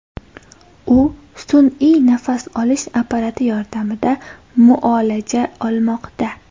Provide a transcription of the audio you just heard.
U sun’iy nafas olish apparati yordamida muolaja olmoqda.